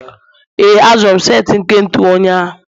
ee, azụrụ m set nke ntu ụnyahụ